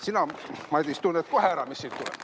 Sina, Madis, tunned kohe ära, mis siit tuleb.